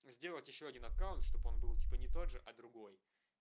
сделать ещё один аккаунт чтобы он был типа не тот же а другой